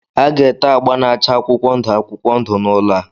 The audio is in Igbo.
A ga-ete agba na-acha akwụkwọ ndụ akwụkwọ ndụ n'ụlọ a.